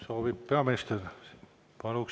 Soovib peaminister?